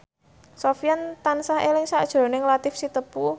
Sofyan tansah eling sakjroning Latief Sitepu